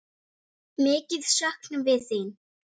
Fylkjum liði í dag